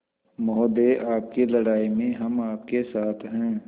महोदय आपकी लड़ाई में हम आपके साथ हैं